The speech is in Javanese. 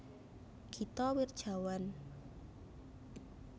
Gita Wirjawan